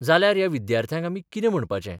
जाल्यार ह्या विद्यार्थ्यांक आमी कितें म्हणपाचें?